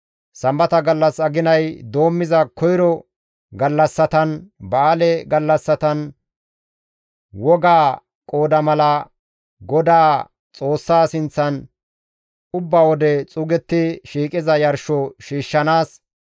sambata gallas, aginay doommiza koyro gallassatan, ba7aale gallassatan wogaa qooda mala Godaa Xoossa sinththan ubba wode xuugetti shiiqiza yarsho shiishshanaas,